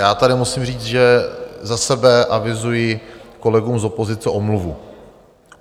Já tady musím říct, že za sebe avizuji kolegům z opozice omluvu.